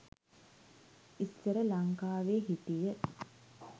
ඉස්සර ලංකාවෙ හිටිය